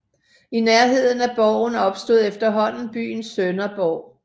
I nærheden af borgen opstod efterhånden byen Sønderborg